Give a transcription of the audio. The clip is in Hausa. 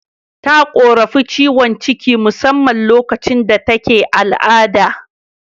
Ta korafin ciwon ciki musamman lokacin da take al'ada.